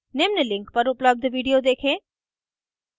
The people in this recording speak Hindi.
निम्न link पर उपलब्ध video देखें